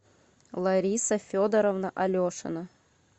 лариса федоровна алешина